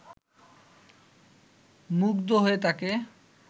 মুগ্ধ হয়ে তাঁকে